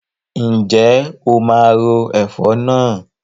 Ǹjẹ́ o máa ro ẹ̀fọ̀ náà?